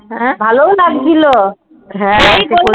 ভালো ও লাগছিলো